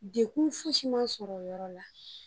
Dekun fosi mma n sɔrɔ o yɔrɔ la